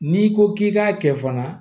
N'i ko k'i k'a kɛ fana